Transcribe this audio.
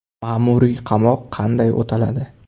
Ma’muriy qamoq qanday o‘taladi?.